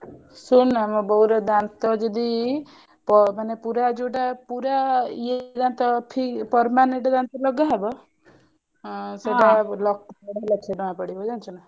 ଶୁଣୁ ନା ମୋ ବୋଉ ର ଦାନ୍ତ ଯଦି ମାନେ ପୁରା ଯାଉଟା ପୁରା ଇଏ ଦାନ୍ତ permanent ଦାନ୍ତ ଲଗା ହବ ସେଇଟା ଲକ୍ଷେ ଦେଢ ଲକ୍ଷ ଟଙ୍କା ପଡିବ ଜାଣିଛୁ ନା।